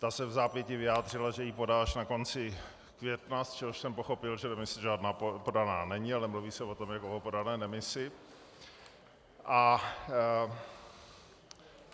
Ta se vzápětí vyjádřila, že ji podá až na konci května, z čehož jsem pochopil, že demise žádná podaná není, ale mluví se o tom jako o podané demisi.